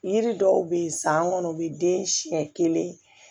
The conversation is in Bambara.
Yiri dɔw be yen san kɔnɔ o be den siɲɛ kelen